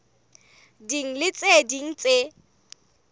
ding le tse ding tse